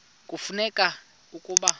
kufuneka ke ukuba